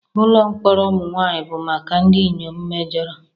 Ụlọ mkpọrọ ụmụ nwanyị bụ maka ndị inyom mejọrọ.